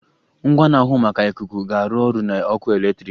Ngwa na-ahụ maka ikuku ga-arụ ọrụ na ọkụ eletrik.